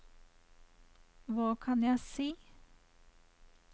hva kan jeg si